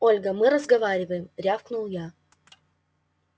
ольга мы разговариваем рявкнул я